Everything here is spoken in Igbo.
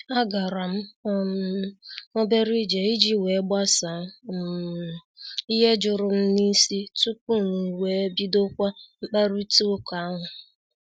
A garam um obere ije iji wee gbasaa um ihe jụrụ m n'isi tupu m wee bidokwa mkparita ụka ahụ.